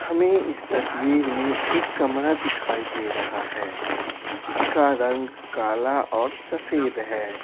हमें इस तस्वीर में एक कमरा दिखाई दे रहा है जिसका रंगकाला और सफेद है।